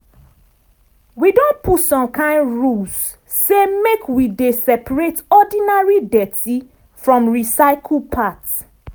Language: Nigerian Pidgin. wi don put some kind rules say make we dey separate ordinary dirty from recycle part